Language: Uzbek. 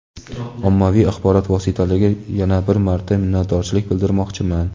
Ommaviy axborot vositalariga yana bir marta minnatdorchilik bildirmoqchiman.